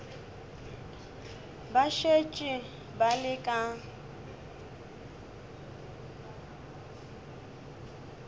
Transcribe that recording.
ba šetše ba le ka